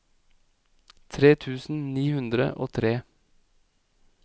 tre tusen ni hundre og tre